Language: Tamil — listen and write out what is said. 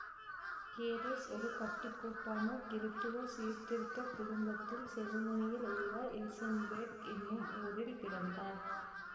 கேரஸ் ஒரு கட்டுக்கோப்பான கிறித்துவச் சீர்திருத்த குடும்பத்தில் செருமனியில் உள்ள இல்சென்பேர்க் எனும் ஊரில் பிறந்தார்